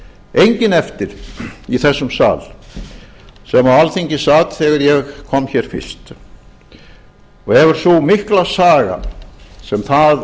enginn eftir í þessum sal sem á alþingi sat þegar ég kom hér fyrst og hefur sú mikla saga sem það